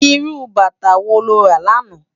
Irú bàtá wó ló rá làná?